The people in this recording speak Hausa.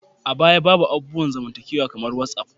A baya, babu abubuwan zamantakewa kamar whatsap